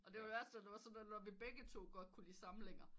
Og det var der værste når vi begge to godt kunne lide samlinger